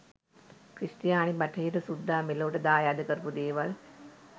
ක්‍රිස්තියානි බටහිර සුද්දා මෙලොවට දායාද කරපු දේවල්